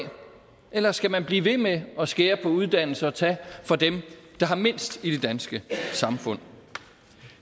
eller skal man blive ved med at skære på uddannelse og tage fra dem der har mindst i det danske samfund